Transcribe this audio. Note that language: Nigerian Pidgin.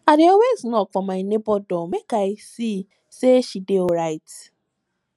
i dey always knock for my nebor door make i see sey she dey alright